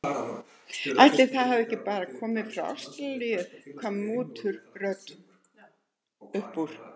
Ætli þær hafi ekki bara komið frá Ástralíu, kvað múturödd upp úr.